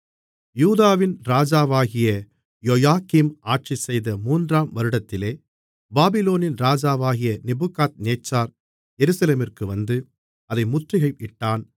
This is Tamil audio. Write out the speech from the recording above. யூதாவின் ராஜாவாகிய யோயாக்கீம் ஆட்சிசெய்த மூன்றாம் வருடத்திலே பாபிலோனின் ராஜாவாகிய நேபுகாத்நேச்சார் எருசலேமிற்கு வந்து அதை முற்றுகையிட்டான்